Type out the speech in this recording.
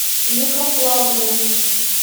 лихославлю